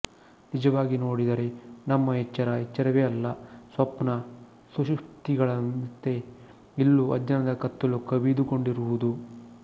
ನಿಜವಾಗಿ ನೋಡಿದರೆ ನಮ್ಮ ಎಚ್ಚರ ಎಚ್ಚರವೇ ಅಲ್ಲ ಸ್ವಪ್ನ ಸುಷುಪ್ತಿಗಳಂತೆ ಇಲ್ಲೂ ಅಜ್ಞಾನದ ಕತ್ತಲು ಕವಿದುಕೊಂಡಿರುವುದು